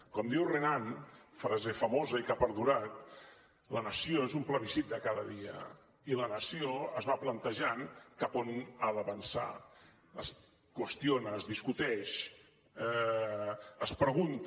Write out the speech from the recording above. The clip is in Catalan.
com diu renan frase famosa i que ha perdurat la nació és un plebiscit de cada dia i la nació es va plantejant cap a on ha d’avançar es qüestiona es discuteix es pregunta